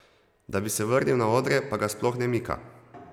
Da bi se vrnil na odre pa ga sploh ne mika.